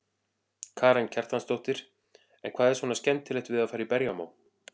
Karen Kjartansdóttir: En hvað er svona skemmtilegt við að fara í berjamó?